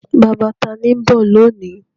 Bàbá ta ni ó ń bọ̀ lónìí?